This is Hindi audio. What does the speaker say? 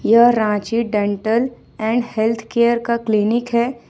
यह रांची डेंटल एंड हेल्थ के का क्लिनिक है।